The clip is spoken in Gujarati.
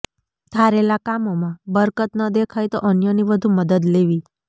ધારેલા કામોમાં બરકત ન દેખાય તો અન્યની વધુ મદદ લેવી